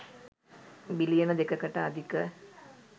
බිලියන 2 කට අධික